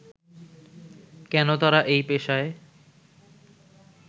কেন তারা এই পেশায়